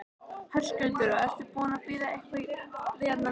Höskuldur: Og ertu búinn að bíða eitthvað hérna lengi?